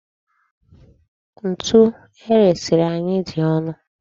Ntu eresiri anyị dị ọnụ.